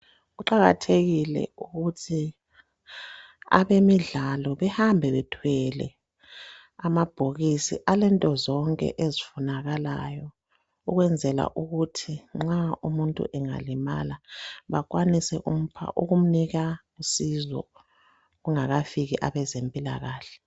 Kuqakathekile ukuthi abemidlalo behambe bethwele amabhokisi alento zonke ezifunakalayo ukwenzela ukuthi nxa umuntu engalimala bakwanise ukumupha ukumnika usizo kungakafiki abezempilakahle.